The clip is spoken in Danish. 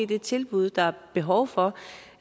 det tilbud der er behov for